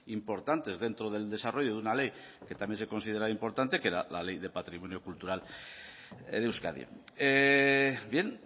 importantes dentro del desarrollo de una ley que también se considera importante que era la ley de patrimonio cultural de euskadi bien